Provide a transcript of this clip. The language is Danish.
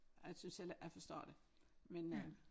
Jeg synes heller ikke jeg forstår det men øh